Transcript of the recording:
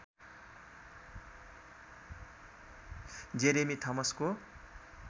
Jeremy थमसको